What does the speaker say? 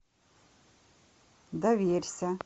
доверься